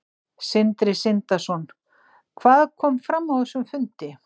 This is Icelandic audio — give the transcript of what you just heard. Sindri Sindrason: Hvað kom fram á þessum fundi?